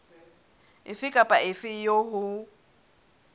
efe kapa efe eo ho